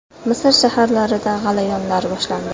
Misr shaharlarida g‘alayonlar boshlandi.